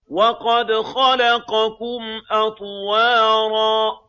وَقَدْ خَلَقَكُمْ أَطْوَارًا